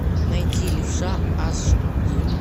найти левша аш ди